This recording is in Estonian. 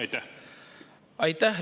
Aitäh!